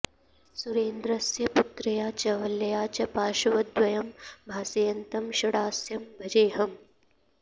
सुरेन्द्रस्य पुत्र्या च वल्ल्या च पार्श्वद्वयं भासयन्तं षडास्यं भजेऽहम्